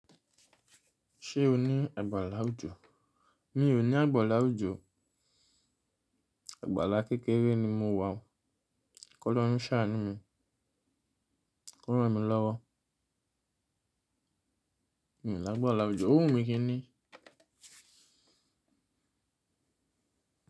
Ṣé o ní àgbàlá òjò? Mi ò ní àgbàlá òjò. Àgbàlá kékeré ni mo wà. Kọ́lorun ṣàá ní mi. Kọ́ ranmilọ́wọ́. Mi ò ní àgbàlá òjò. Òwun mi kí n ni?